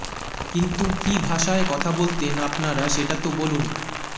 কিন্তু কী ভাষায় কথা বলতেন আপনারা সেটা তো বলুন